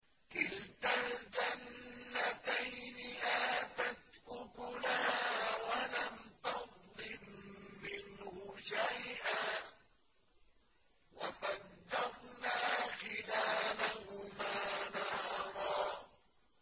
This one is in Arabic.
كِلْتَا الْجَنَّتَيْنِ آتَتْ أُكُلَهَا وَلَمْ تَظْلِم مِّنْهُ شَيْئًا ۚ وَفَجَّرْنَا خِلَالَهُمَا نَهَرًا